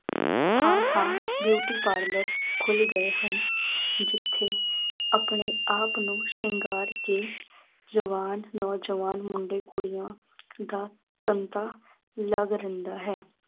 ਥਾਂ ਥਾਂ beauty parlour ਖੁੱਲ ਗਏ ਹਨ ਜਿੱਥੇ ਆਪਣੇ ਆਪ ਨੂੰ ਸ਼ਿੰਗਾਰ ਕੇ ਜਵਾਨ ਨੌਜਵਾਨ ਮੁੰਡੇ ਕੁੜੀਆਂ ਦਾ ਧੰਦਾ ਲਗ ਰਹਿੰਦਾ ਹੈ।